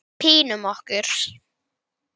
Þetta gerðist allt mjög hratt.